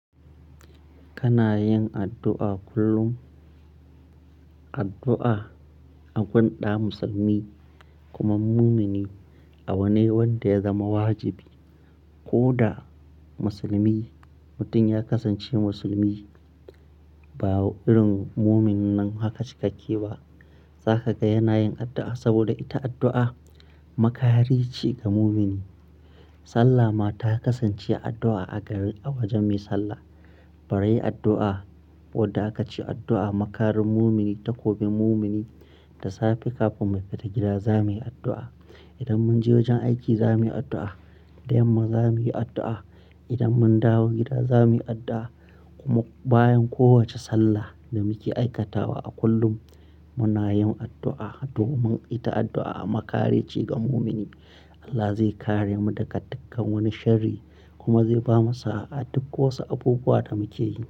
Kana yin addu'a kullum, addu'a a gun ɗa Musulmi kuma mumini a wane wanda ya zama wajibi. Ko da Musulmi mutum ya kasance Musulmi ba irin muminnan haka cikakke ba, za ka ga yana yin addu'a saboda ita addu'a makari ce ga mumini. Sallah ma ta kasance addu'a a wajen mai sallah. Bari addu'a, ko da aka ce addu'a makarin mumini, takobin mumini da safe kafin mu fita gida za muyi addu'a. Idan mun je wajen aiki za muyi addu'a, da yamma za muyi addu'a idan mun dawo gida za muyi addu'a. Kuma bayan kowace sallah da muke aikatawa a kullum muna yin addu'a domin ita addu'a makari ce ga mumini. Allah zai kare mu daga dukkan wani shari kuma zai ba mu sa'a a duk wasu abubuwa da muke yi.